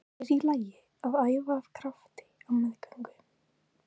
Er í lagi að æfa af krafti á meðgöngu?